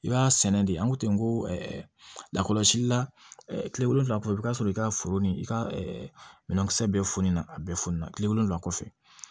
I b'a sɛnɛ de an ko ten n ko lakɔlɔsili la kile wolonwula kɔ i bi taa sɔrɔ i ka foro ni i ka minɛnkisɛ bɛ funu na a bɛɛ fonɛnɛ kile wolonwula kɔfɛ